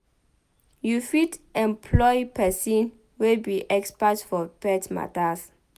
You fit employ persin wey be expert for pet matters